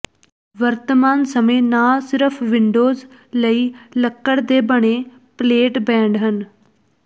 ਵਰਤਮਾਨ ਸਮੇਂ ਨਾ ਸਿਰਫ ਵਿੰਡੋਜ਼ ਲਈ ਲੱਕੜ ਦੇ ਬਣੇ ਪਲੇਟਬੈਂਡ ਹਨ